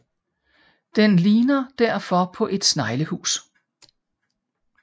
Den ligner derfor på et sneglehus